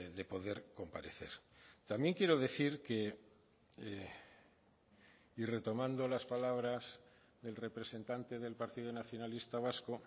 de poder comparecer también quiero decir que y retomando las palabras del representante del partido nacionalista vasco